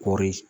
Kɔɔri